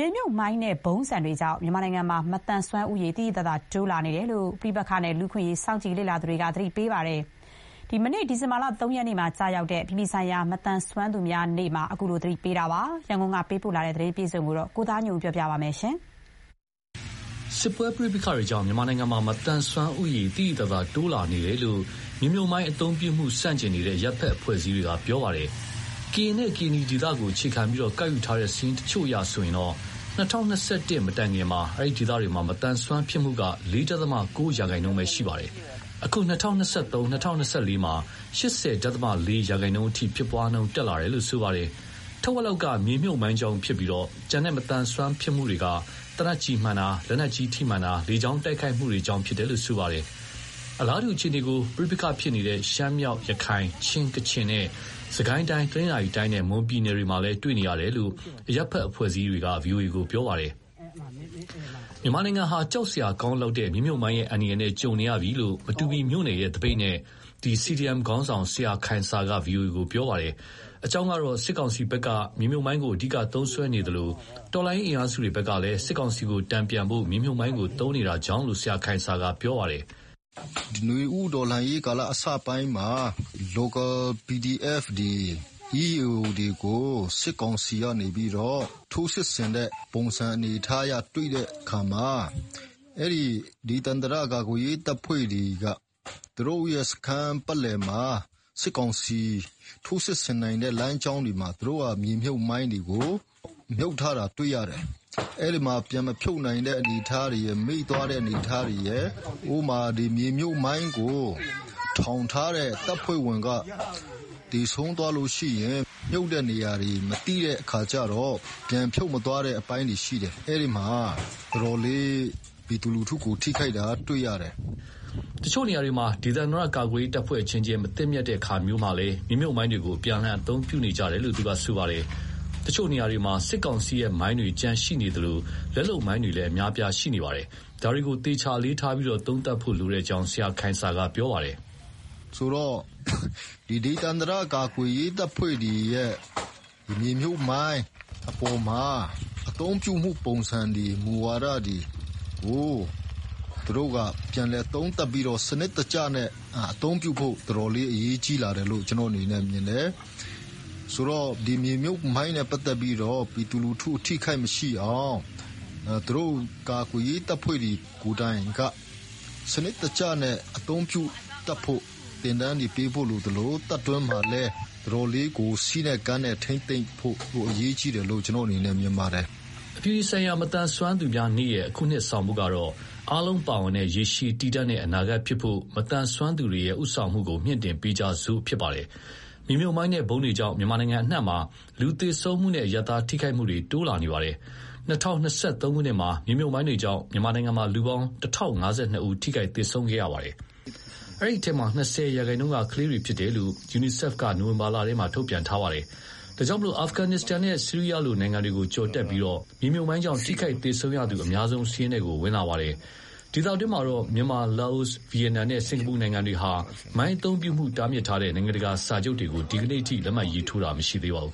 ေမြှုပ်မိုင်းနဲ့ ဗုံးဆံတွေကြောင့် မြန်မာနိုင်ငံမှာ မသန်စွမ်းဦးရေ တိုးလာနေတယ်လို့ ပဋိပက္ခနဲ့ လူ့အခွင့်အရေး စောင့်ကြည့်လေ့လာနေသူတွေက ဒီဇင်ဘာလ ၃ ရက်နေ့ကျရောက်တဲ့ အပြည်ပြည်ဆိုင်ရာ မသန်စွမ်းသူများနေ့မှာ သတိပေးလိုက်ပါတယ်။ စစ်ပွဲပဋိပက္ခတွေကြောင့် မြန်မာနိုင်ငံမှာ မသန်စွမ်းဦးရေ သိသိသာသာ တိုးလာနေတယ်လို့ မြေမြှုပ်မိုင်းအသုံးပြုမှု ဆန့်ကျင်နေတဲ့ အရပ်ဘက်အဖွဲ့အစည်းတွေက ပြောပါတယ်။ ကရင်နဲ့ ကရင်နီဒေသကို အခြေခံပြီး ကောက်ယူထားတဲ့ စာရင်းတချို့အရဆိုရင် ၂၀၂၁ မတိုင်ခင်က အဲဒီဒေသတွေမှာ မသန်စွမ်းဖြစ်မှုက ၄.၉ ရာခိုင်နှုန်းပဲ ရှိပါတယ်။ အခု ၂၀၂၃-၂၀၂၄ မှာ ၈၀.၄ ရာခိုင်နှုန်းအထိ ဖြစ်ပွားနှုန်း တက်လာတာပါ။ ထက်ဝက်လောက်က မြေမြှုပ်မိုင်းကြောင့်ဖြစ်ပြီး ကျန်တဲ့မသန်စွမ်းဖြစ်မှုတွေက သေနတ်ကျည်မှန်တာ၊ လက်နက်ကြီးထိမှန်တာ၊ လေကြောင်းတိုက်ခိုက်မှုတွေကြောင့် ဖြစ်တယ်လို့ ပြောပါတယ်။ အလားတူအခြေအနေကို ပဋိပက္ခဖြစ်ပွားနေတဲ့ ရှမ်းမြောက်၊ ရခိုင်၊ ချင်း၊ ကချင်နဲ့ စစ်ကိုင်းတိုင်း၊ တနင်္သာရီတိုင်းနဲ့ မွန်ပြည်နယ်တွေမှာလည်း တွေ့နေရတယ်လို့ အရပ်ဘက် အဖွဲ့အစည်းတချို့က ဗွီအိုအေကို ပြောပါတယ်။ မြန်မာနိုင်ငံဟာ ကြောက်စရာကောင်းလောက်တဲ့ မြေမြှုပ်မိုင်းရဲ့ အန္တရာယ်နဲ့ ကြုံနေရပြီလို့ မတူပီမြို့နယ်ရဲ့ သပိတ်နဲ့ CDMခေါင်းဆောင် ဆရာခိုင်ဆာက ဗွီအိုအေကို ပြောပါတယ်။ အကြောင်းကတော့ စစ်ကောင်စီကလည်း မြေမြှုပ်မိုင်းကို အဓိကသုံးစွဲနေသလို တော်လှန်ရေး အင်အားစုတွေကလည်း စစ်ကောင်စီကိုတန်ဖြန်ဖို့ မြေမြှုပ်မိုင်းကို သုံးနေတာကြောင့်လို့ ဆရာခိုင်ဆာက ပြောပြပါတယ်။ " နွေဦးတော်လှန်ရေးကာလ အစပိုင်းမှာ local PDF တွေ၊ EAO တွေကို စစ်ကောင်စီတွေက ထိုးစစ်ဆင်တဲ့ပုံစံ တွေ့တဲ့အခါမှာ အဲဒီဒေသန္တရ ကာကွယ်ရေးတပ်ဖွဲ့တွေက သူတို့ရဲ့ စခန်းပတ်လည်မှာ စစ်ကောင်စီ ထိုးစစ်ဆင်နိုင်တဲ့ လမ်းကြောင်းတွေမှာ မြေမြုပ်မိုင်းတွေကို မြှုပ်ထားတာတွေ့ရတယ်။ ပြန်မဖြုတ်နိုင်တဲ့ အနေအထားတွေရယ် မေ့သွားတဲ့ အနေအထားတွေရယ် ဥပမာ မြေမြှုပ်မိုင်းကို ထောင်ထားတဲ့ တပ်ဖွဲ့ဝင်က သေဆုံးသွားရင် မြှုပ်တဲ့နေရာတွေ မသိတဲ့အခါကြတော့ ပြန်မဖြုတ်သွားတဲ့ အပိုင်းတွေရှိတယ်။ အဲဒီမှာ တော်တော်လေး ပြည်သူလူထုကို ထိခိုက်တာ တွေ့ရတယ်။" တချို့နေရာတွေမှာ ဒေသန္တရ ကာကွယ်ရေးတပ်ဖွဲ့ အချင်းချင်း မသင့်မြတ်တဲ့အခါမျိုးမှာလည်း မြေမြှုပ်မိုင်းတွေကို အပြန်အလှန် အသုံးပြုနေကြတယ်လို့ သူကပြောပါတယ်။ တချို့နေရာတွေမှာ စစ်ကောင်စီရဲ့ မိုင်းတွေ ကျန်ရှိနေသလို လက်လုပ်မိုင်းတွေလည်း အများအပြား ရှိနေပါတယ်။ ဒါတွေကို သေချာ အလေးထားပြီး သုံးသပ်ဖို့လိုကြောင်း ဆရာခိုင်ဆာက ပြောပါတယ်။ "ဒေသန္တရ ကာကွယ်ရေးတပ်ဖွဲ့တွေရဲ့ မြေမြှုပ်မိုင်းအပေါ်မှာ အသုံးပြုမှုပုံစံတွေ၊ မူဝါဒတွေ သူတို့က ပြန်လည်သုံးသပ်ပြီး စနစ်တကျနဲ့ အသုံးပြုဖို့ အတော်လေးအရေးကြီးလာတယ်လို့ မြင်တယ်။ မြေမြှုပ်မိုင်းနဲ့ပတ်သက်ပြီး ပြည်သူလူထု ထိခိုက်မှုမရှိအောင် သူတို့ ကာကွယ်ရေးတပ်ဖွဲ့တွေ ကိုယ်တိုင်က စနစ်တကျ အသုံးပြုတတ်ဖို့ သင်တန်းတွေပေးဖို့ လိုသလို တပ်တွင်းမှာလည်း အတော်လေး စည်းနဲ့ကမ်းနဲ့ထိန်းသိမ်းဖို့ အရေးကြီးတယ်လို့ မြင်ပါတယ်။" အပြည်ပြည်ဆိုင်ရာ မသန်စွမ်းသူများနေ့ရဲ့ အခုနှစ် ဆောင်ပုဒ်ကတော့ "အားလုံးပါဝင်တဲ့ ရေရှည်တည်တံ့တဲ့ အနာဂတ်ဖြစ်ဖို့ မသန်စွမ်းသူတွေရဲ့ ဦးဆောင်မှုကို မြှင့်တင့်ပေးကြစို့" ဖြစ်ပါတယ်။ မြေမြှုပ်မိုင်းနဲ့ ဗုံးတွေကြောင့် မြန်မာနိုင်ငံအနှံ့မှာ လူသေဆုံးမှုနဲ့ အရပ်သားထိခိုက်မှုတွေ များလာနေပါတယ်။ ၂၀၂၃မှာ မြေမြှုပ်မိုင်းတွေကြောင့် မြန်မာနိုင်ငံမှာ လူပေါင်း ၁,၀၅၂ ယောက် ထိခိုက်၊ သေဆုံးခဲ့ပါတယ်။ အဲဒီအထဲမှာ ၂၀ရာခိုင်နှုန်းက ကလေးတွေဖြစ်တယ်လို့ UNICEF က နိုဝင်ဘာလထဲမှာ ထုတ်ပြန်ထားပါတယ်။ ဒါကြောင့် အာဖဂန်နစ္စတန်နဲ့ ဆီးရီးယားလို နိုင်ငံတွေကို ကျော်တက်ပြီး မြေမြှုပ်မိုင်းကြောင့် ထိခိုက်၊ သေဆုံးရသူအများဆုံး စာရင်းထဲကို ဝင်ခဲ့တာပါ။ ဒေသတွင်းမှာတော့ မြန်မာ၊ လာအို၊ ဗီယက်နမ်နဲ့ စင်္ကာပူနိုင်ငံတွေဟာ မိုင်းအသုံးပြုမှု တားမြစ်ထားတဲ့ နိုင်ငံတကာ စာချုပ်တွေကို ဒီနေ့အထိ လက်မှတ်ရေးထိုးထားတာ မရှိသေးပါဘူး